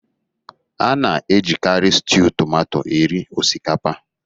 A na-ejikari stiu tomato eri osikapa.